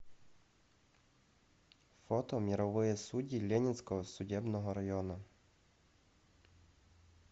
фото мировые судьи ленинского судебного района